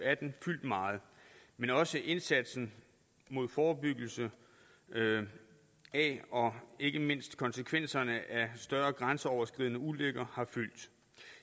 atten fyldt meget men også indsatsen med forebyggelse af og ikke mindst konsekvenserne af større grænseoverskridende ulykker har fyldt